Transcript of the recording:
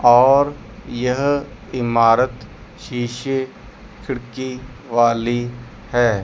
और यह इमारत शीशे खिड़की वाली है।